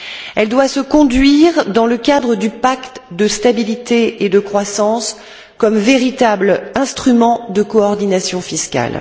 Elle doit se conduire dans le cadre du pacte de stabilité et de croissance comme véritable instrument de coordination fiscale.